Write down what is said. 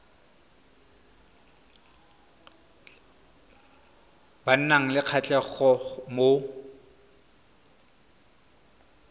ba nang le kgatlhego mo